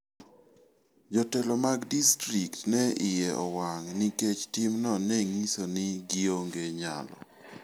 Jotelo mag distrikt ne iye owang' nikech timno ne nyiso ni gionge nyalo.